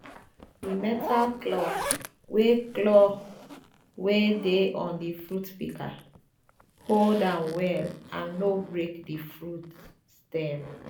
di metal claw wey claw wey dey on the fruit pika hold am well and no break the fruit stem